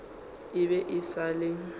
e be e sa le